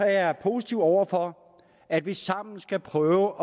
er jeg positiv over for at vi sammen skal prøve